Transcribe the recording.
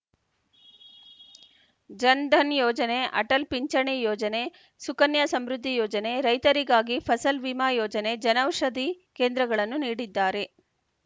ಜನ್‌ಧನ್‌ ಯೋಜನೆ ಅಟಲ್‌ ಪಿಂಚಣಿ ಯೋಜನೆ ಸುಕನ್ಯ ಸಮೃದ್ಧಿ ಯೋಜನೆ ರೈತರಿಗಾಗಿ ಫಸಲ್‌ ವಿಮಾ ಯೋಜನೆ ಜನೌಷಧಿ ಕೇಂದ್ರಗಳನ್ನು ನೀಡಿದ್ದಾರೆ